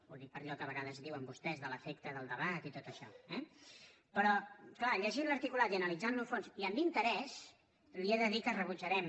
ho dic per allò que a vegades diuen vostès de l’efecte del debat i tot això eh però clar llegint l’articulat i analitzant lo a fons i amb interès li he de dir que rebutjarem